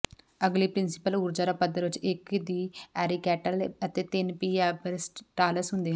ਅਗਲੀ ਪ੍ਰਿੰਸੀਪਲ ਊਰਜਾ ਦਾ ਪੱਧਰ ਵਿੱਚ ਇੱਕ ਦੀ ਆਰਕੈਿਟਲ ਅਤੇ ਤਿੰਨ ਪੀ ਆਬਰੇਟਾਲਸ ਹੁੰਦੇ ਹਨ